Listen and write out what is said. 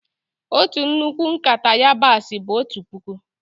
Ọtu nnukwu nkata yabasi bụ ọtu pụkụ.